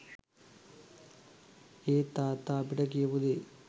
ඒත් තාත්තා අපිට කියපු දේ